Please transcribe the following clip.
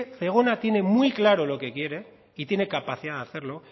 zegona tiene muy claro lo que quiere y tiene capacidad de hacerlo